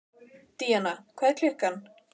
Díanna, hvað er klukkan?